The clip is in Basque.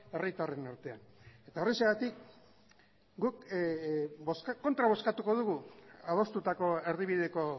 herritarren artean eta horrexegatik guk kontra bozkatuko dugu adostutako erdibideko